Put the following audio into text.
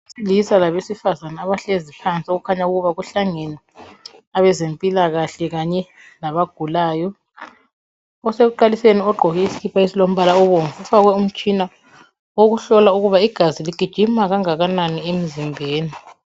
Abesilisa labesifazana abahlezi phansi okukhanya ukuba kuhlangene abezempilakahle kanye labagulayo .Osekuqaliseni ugqoke isikhipha esilombala obomvu ufakwe umtshina owokuhlola ukuba igazi ligijima kangakanani emzimbeni.